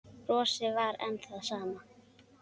Brosið var enn það sama.